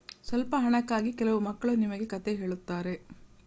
ಸ್ವಲ್ಪ ಹಣಕ್ಕಾಗಿ ಕೆಲವು ಮಕ್ಕಳು ನಿಮಗೆ ಕಥೆ ಹೇಳುತ್ತಾರೆ